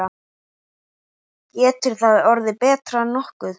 Getur það orðið nokkuð betra?